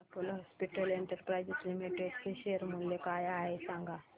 Apollo Hospitals Enterprise Limited चे share मूल्य काय आहे सांगा